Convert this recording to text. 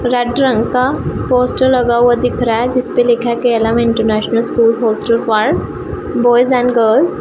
red रंग का poster लगा हुआ दिख रहा है जिसपे लिखा के international school hostel for boys and girls --